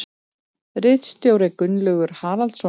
Ritstjóri Gunnlaugur Haraldsson.